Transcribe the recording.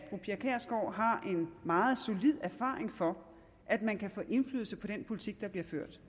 meget solid erfaring for at man kan få indflydelse på den politik der bliver ført